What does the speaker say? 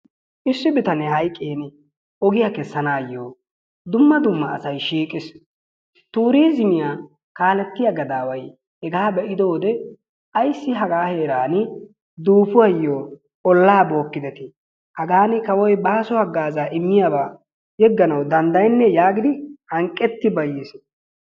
Issi bitanee hayqqiin ogiyaa keessanayoo dumma dumma asay shiiqqiis. Turiizimiyaa kaalettiyaa gadaway hegaa be'ido wode ayssi hagaa heerani duupuwaayoo ollaa bookkideti hagaani kawoy baaso haggaazaa immiyaaba yeegganawu danddayenee giidi hanqqeti bayiis.